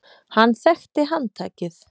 Hann þekkti handtakið.